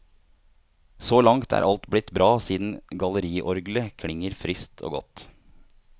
Så langt er alt blitt bra siden galleriorglet klinger friskt og godt.